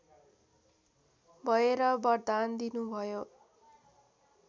भएर वरदान दिनुभयो